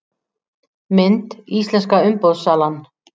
Mynd: Íslenska umboðssalan